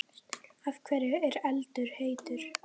Af hverju er eldur heitur?